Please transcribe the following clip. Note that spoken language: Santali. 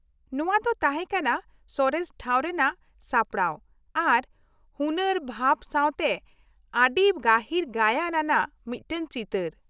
ᱱᱚᱶᱟ ᱫᱚ ᱛᱟᱦᱮᱸ ᱠᱟᱱᱟ ᱥᱚᱨᱮᱥ ᱴᱷᱟᱶ ᱨᱮᱱᱟᱜ ᱥᱟᱯᱲᱟᱣ ᱟᱨ ᱦᱩᱱᱟ.ᱨ ᱵᱷᱟᱣ ᱥᱟᱶᱛᱮ ᱟ.ᱰᱤ ᱜᱟᱹᱦᱤᱨ ᱜᱟᱭᱟᱱ ᱟᱱᱟᱜ ᱢᱤᱫᱴᱟᱝ ᱪᱤᱛᱟ.ᱨ ᱾